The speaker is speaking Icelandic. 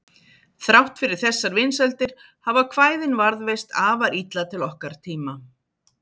Þrátt fyrir þessar vinsældir hafa kvæðin varðveist afar illa til okkar tíma.